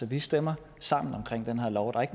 vi stemmer sammen